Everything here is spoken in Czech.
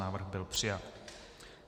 Návrh byl přijat.